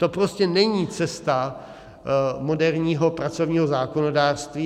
To prostě není cesta moderního pracovního zákonodárství.